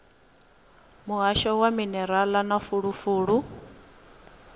muhasho wa minerala na fulufulu